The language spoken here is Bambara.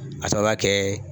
Ka sababuya kɛ